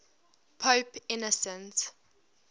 pope innocent